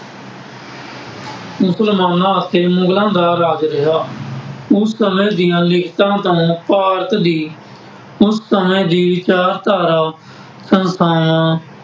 ਮੁਸਲਮਾਨਾਂ ਅਤੇ ਮੁਗਲਾਂ ਦਾ ਰਾਜ ਰਿਹਾ। ਉਸ ਸਮੇਂ ਦੀਆਂ ਲਿਖਤਾਂ ਦਾ ਭਾਰਤ ਦੀ ਉਸ ਸਮੇਂ ਦੀ ਵਿਚਾਰਧਾਰਾ ਸੰਸਥਾਵਾਂ